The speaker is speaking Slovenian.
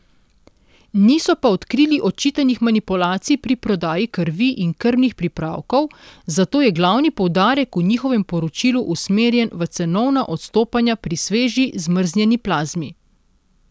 Niso pa odkrili očitanih manipulacij pri prodaji krvi in krvnih pripravkov, zato je glavni poudarek v njihovem poročilu usmerjen v cenovna odstopanja pri sveži zmrznjeni plazmi.